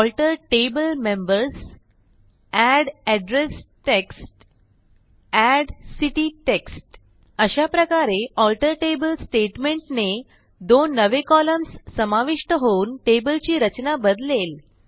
alter table members add address text add city text अशाप्रकारे alter table स्टेटमेंटने दोन नवे कॉलम्स समाविष्ट होऊन टेबलची रचना बदलेल